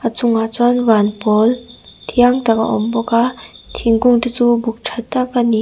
a chungah chuan van pawl thiang tak a awm bawk a thingkung te chu buk tha tak a ni.